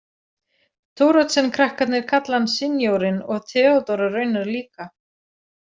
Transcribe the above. Thoroddsenkrakkarnir kalla hann sinjórinn og Theodóra raunar líka.